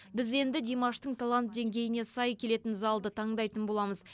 біз енді димаштың талант деңгейіне сай келетін залды таңдайтын боламыз